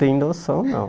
Tenho noção, não.